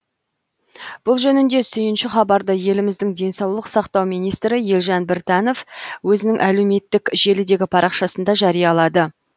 бұл жөнінде сүйінші хабарды еліміздің денсаулық сақтау министрі елжан біртанов өзінің әлеуметтк желідегі парақшасында жариялады